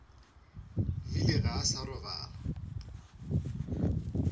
bile ga a sa robala